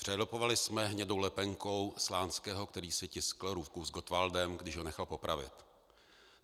Přelepovali jsme hnědou lepenkou Slánského, který si tiskl ruku s Gottwaldem, když ho nechal popravit.